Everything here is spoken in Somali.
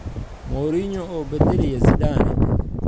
Mourinho oo bedelaya Zidane?